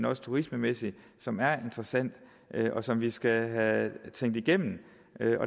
og turistmæssigt som er interessant og som vi skal have tænkt igennem